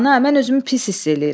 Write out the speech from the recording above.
Ana, mən özümü pis hiss eləyirəm.